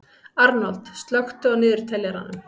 Arnold, slökktu á niðurteljaranum.